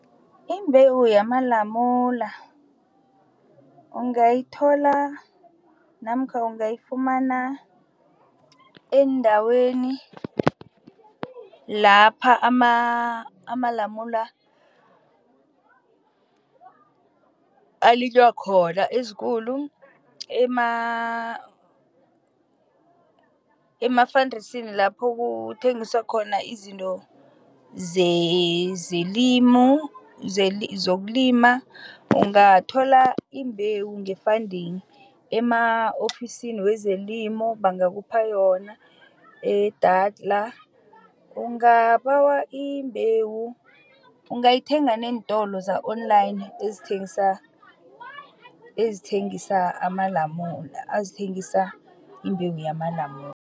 Imbewu yamalamula ungayithola namkha ungayifumana endaweni lapha amalamula alinywa khona ezikulu emafandesini lapho kuthengiswa khona izinto zelimo, zokulima. Ungathola imbewu nge-funding, ema-ofisini wezelimo bangakhupha yona, e-Daltrus, ungabawa imbewu, ungayithenga neentolo za-online ezithengisa amalamune, ezithengisa imbewu yamalamune.